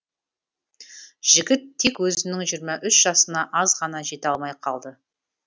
жігіт тек өзінің жиырма үш жасына аз ғана жете алмай қалды